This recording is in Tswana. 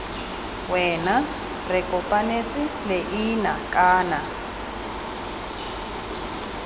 wena re kopanetse leina kana